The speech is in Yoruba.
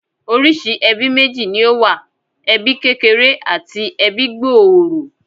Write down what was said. Oríṣìí ẹbí méjì ni ó wà. Ẹbí kékeré àti ẹbí gbòòrò